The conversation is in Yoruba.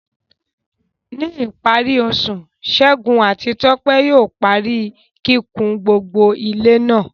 Ní ìparí oṣù, Segun àti Tope yóò parí kíkùn gbogbo ilé náà.